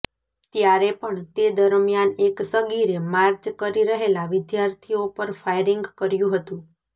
ત્યારે પણ તે દરમિયાન એક સગીરે માર્ચ કરી રહેલા વિદ્યાર્થીઓ પર ફાયરિંગ કર્યુ હતું